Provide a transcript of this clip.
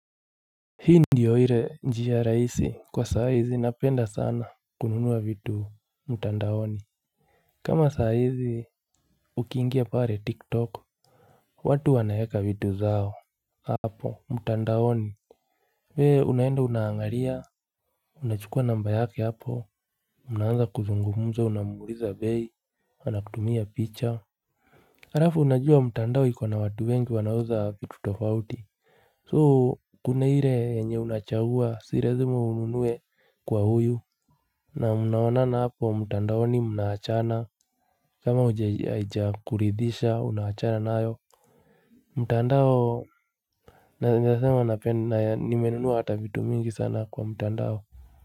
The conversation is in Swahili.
Hii ndiyo hile njiha rahisi kwa saa hizi napenda sana kununuwa vitu mutandaoni Hii ndiyo hile njiha rahisi kwa saa hizi napenda sana kununuwa vitu mtandaoni kama saa hizi ukingia pare tiktok Unachukua namba yake hapo Unaanza kuzungumuza unamuhuliza bei Anakudumia picha harafu unajua mtandao iko na watu wengi wanauza vitu tofauti soo kune hire enye unachahua sirezuma ununuwe kwa huyu na mnaonana hapo mtandao mnaachana kama huja ija kuridhisha unachana nayo mtandao naesema ni menunuwa hata vitu mingi sana kwa mutandao.